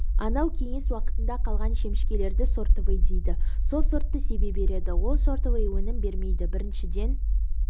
анау кеңес уақында қалған шемішкелерді сортовой дейді сол сортты себе береді ол сортовой өнім бермейді біріншіден